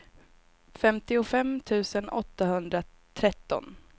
femtiofem tusen åttahundratretton